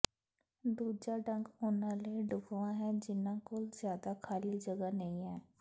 ਦੂਜਾ ਢੰਗ ਉਹਨਾਂ ਲਈ ਢੁਕਵਾਂ ਹੈ ਜਿਨ੍ਹਾਂ ਕੋਲ ਜ਼ਿਆਦਾ ਖਾਲੀ ਜਗ੍ਹਾ ਨਹੀਂ ਹੈ